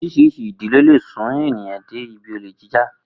Orís̩irís̩i ìdí ló lè sún èèyàn dé ibi olè jíjà